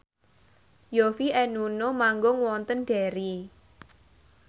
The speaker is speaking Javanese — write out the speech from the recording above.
Yovie and Nuno manggung wonten Derry